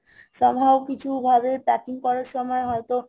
some how কিছু ভাবে packing করার সময় হয়তো